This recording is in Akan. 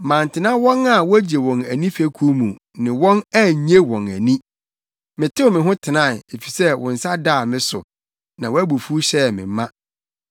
Mantena wɔn a wogye wɔn ani fekuw mu, ne wɔn annye wɔn ani; metew me ho tenae, efisɛ wo nsa daa me so na wʼabufuw hyɛɛ me ma.